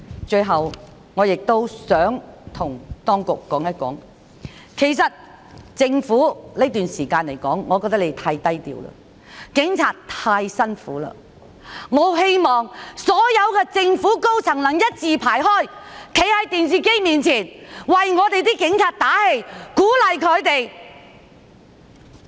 最後，我亦想向當局說，政府在這段時間實在太低調了，警察太辛苦了，我很希望所有政府高層的官員能一字排開，在電視機前為警察打氣，鼓勵他們。